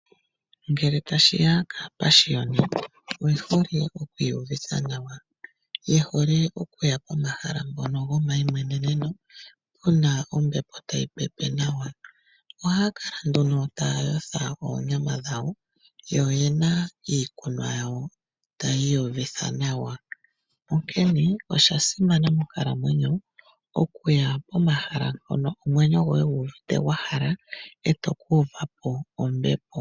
Ngele tashiya kaapashiyoni, oye hole oku iyuvitha nawa. Ye hole okuya pomahala mpono gomayimweneneno, puna ombepo tayi pepe nawa. Ohaya kala nduno taya yotha oonyama dhayo, yo ye na iikunwa yawo, taya iyuvitha nawa, onkene osha simana monkalamwenyo okuya pomahala mpono omwenyo goye gu uvite gwa hala, etoku uva po ombepo.